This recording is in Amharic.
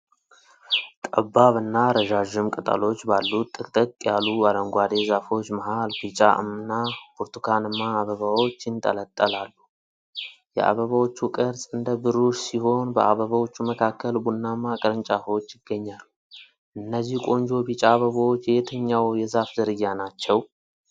ጠባብ እና ረዣዥም ቅጠሎች ባሉት ጥቅጥቅ ያሉ አረንጓዴ ዛፎች መሃል ቢጫ እና ብርቱካንማ አበባዎች ይንጠለጠላሉ። የአበባዎቹ ቅርፅ እንደ ብሩሽ ሲሆን በአበባዎቹ መካከል ቡናማ ቅርንጫፎች ይገኛሉ። ነዚህ ቆንጆ ቢጫ አበቦች የየትኛው የዛፍ ዝርያ ናቸው?